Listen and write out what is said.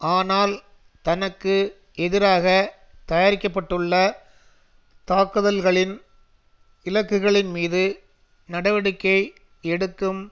ஆனால் தனக்கு எதிராக தயாரிக்க பட்டுள்ள தாக்குதல்களின் இலக்குகளின்மீது நடவடிக்கை எடுக்கும்